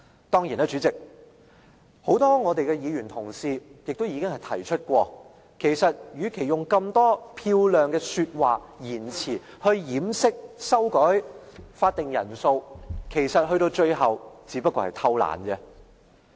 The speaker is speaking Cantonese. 當然，代理主席，很多議員同事已經提過，與其以這麼多漂亮的說話和言詞掩飾修改法定人數的做法，其實到了最後，只不過是偷懶。